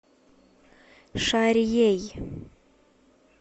шарьей